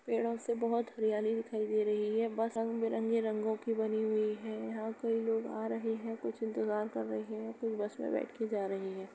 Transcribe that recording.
पेड़ों से बहुत हरियाली दिखाई दे रही है। बस रंग बिरंगे रंगों की बनी हुई है। यहाँ कोई लोग आ रहे हैं। कुछ इंतजार कर रहे हैं। कुछ बस में बैठ के जा रहे हैं।